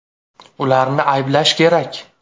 “Ularni ayblash kerak.